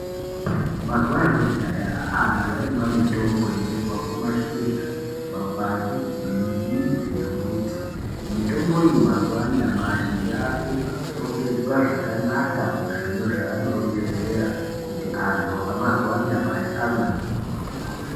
Mazuva ekudhaya antu aimwa mitombo inobva kumashizha makwati nemidzi yemito mitombo iyi mazuva anyamashi yakurongedzwa zvakanaka muzviro zvaanorongedzera kuti antu amazuva anyamashi amwewo .